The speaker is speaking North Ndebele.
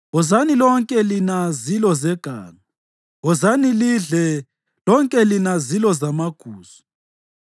Wozani lonke lina zilo zeganga; wozani lidle, lonke lina zilo zamagusu!